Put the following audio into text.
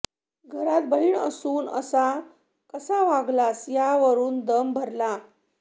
घरात बहीण असून असा कसा वागलास यावरून दम भरला